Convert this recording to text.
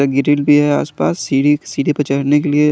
भी है आसपास सीडी सीडी पर चड़ने के लिए।